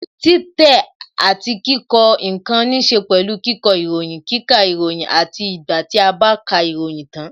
Títẹ̀ àti kíkọ ǹkan níse pẹ̀lú kíkọ ìròyìn, kíkà ìròyìn àti ìgbà tí a bá ka ìròyìn tan